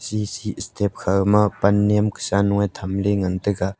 chee see step kha ma pan niam kusa noi thamle ngan taiga.